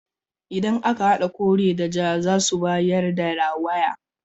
Idan aka hada kore da ja zasu bayar da rawaya.